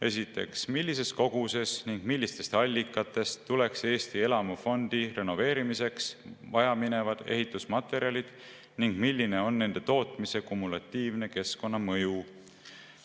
Esiteks, millises koguses ning millistest allikatest tuleksid Eesti elamufondi renoveerimiseks vajaminevad ehitusmaterjalid ning milline on nende tootmise kumulatiivne keskkonnamõju?